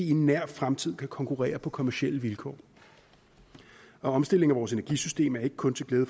i nær fremtid kan konkurrere på kommercielle vilkår og omstillingen af vores energisystem er ikke kun til glæde